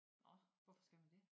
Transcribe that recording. Nå hvorfor skal man dét?